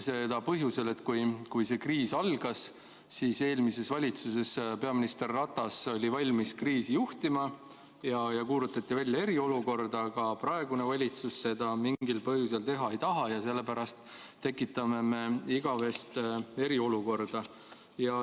Seda põhjusel, et kui see kriis algas, siis eelmises valitsuses peaminister Ratas oli valmis kriisi juhtima ja kuulutati välja eriolukord, aga praegune valitsus seda mingil põhjusel teha ei taha ja sellepärast tekitame me igavese eriolukorra.